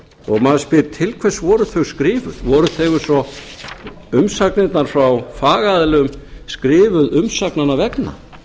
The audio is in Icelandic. maður spyr til hvers voru þau skrifuð voru þau eins og umsagnirnar frá fagaðilum skrifuð umsagnanna vegna